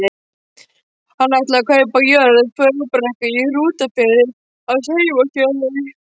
Hann ætlaði að kaupa jörð, Fögrubrekku í Hrútafirði, hans heimahéraði.